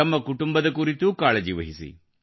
ತಮ್ಮ ಕುಟುಂಬದ ಕುರಿತೂ ಕಾಳಜಿವಹಿಸಿ